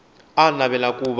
a a navela ku va